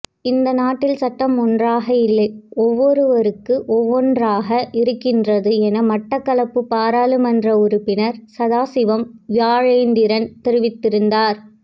இந்த நாட்டில் சட்டம் ஒன்றாக இல்லை ஒவ்வொருவருக்கு ஒவ்வொன்றாக இருக்கின்றது என மட்டக்களப்பு பாராளுமன்ற உறுப்பினர் சதாசிவம் வியாழேந்திரன் தெரிவித்தார்